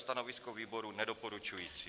Stanovisko výboru - nedoporučující.